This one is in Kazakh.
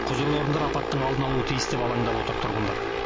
құзырлы орындар апаттың алдын алуы тиіс деп алаңдап отыр тұрғындар